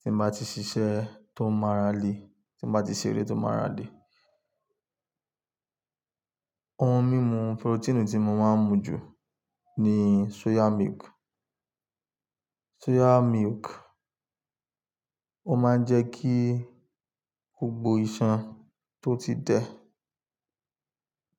tí mo bá ti ṣiṣẹ́ tó máa rà lè, tí mo bá ti ṣeré tó máa rà lè. Ohun mímu porotíìnì tí mo máa ń mu jù ni soya milk, soya milk. Ó máa ń jẹ́ kí gbogbo iṣan tó ti dẹ